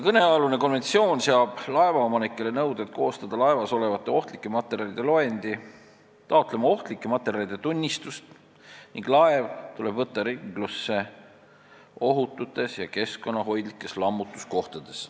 Kõnealune konventsioon seab laevaomanikele nõuded koostada laevas olevate ohtlike materjalide loendi, taotleda ohtlike materjalide tunnistust, ning laev tuleb võtta ringlusse ohututes ja keskkonnahoidlikes lammutuskohtades.